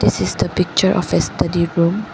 This is the picture of a study room.